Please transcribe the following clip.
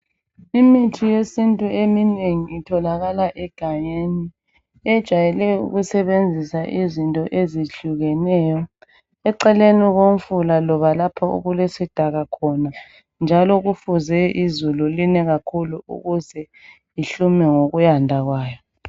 Imithi yesintu eminengi itholakala egangeni. Ejayele ukusebenzisa izinto ezihlukeneyo. Eceleni komfula loba lapho okulesidaka khona njalo kufuze izulu line kakhulu ukuze ihlume ngokuyanda kwayo.